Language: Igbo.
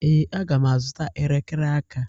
Ee, aga m azụta elekere aka.